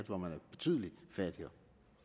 hvor man er betydelig fattigere